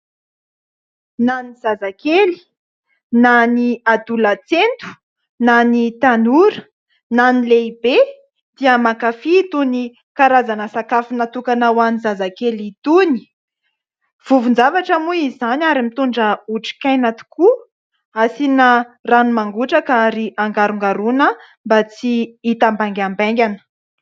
Na ny zazakely, na ny adolatsento, na ny tanora, na ny lehibe dia mankafy itony karazana sakafo natokana ho an'ny zazakely itony. Vovo-javatra moa izany, ary mitondra otrikaina tokoa. Asiana rano mangotraka, ary angarongaroina mba tsy hitambaingambaingana.